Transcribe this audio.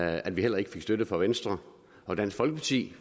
at vi heller ikke fik støtte fra venstre og dansk folkeparti